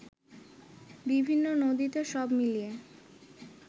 বিভিন্ন নদীতে সব মিলিয়ে